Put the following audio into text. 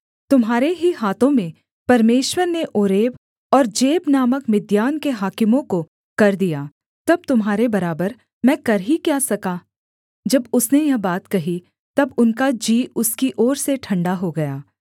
तुम्हारे ही हाथों में परमेश्वर ने ओरेब और जेब नामक मिद्यान के हाकिमों को कर दिया तब तुम्हारे बराबर मैं कर ही क्या सका जब उसने यह बात कही तब उनका जी उसकी ओर से ठण्डा हो गया